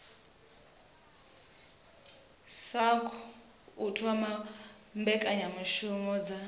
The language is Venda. sasc u thoma mbekanyamishumo dza